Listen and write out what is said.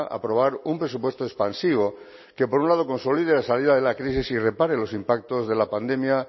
aprobar un presupuesto expansivo que por un lado consolide la salida de la crisis y repare los impactos de la pandemia